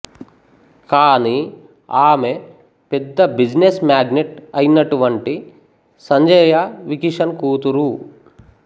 కానీ ఆమె పెద్ద బిజినెస్ మాగ్నెట్ అయ్యినటువంటి సంజయ్రవికిషన్ కూతురు